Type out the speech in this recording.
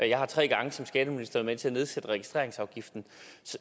jeg har tre gange som skatteminister været med til at nedsætte registreringsafgiften